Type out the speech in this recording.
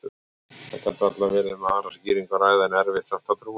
Það gat varla verið um aðra skýringu að ræða, en erfitt samt að trúa henni.